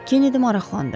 Kennedi maraqlandı.